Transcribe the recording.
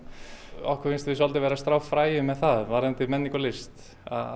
okkur finnst við svolítið vera að strá fræjum með það varðandi menningu og list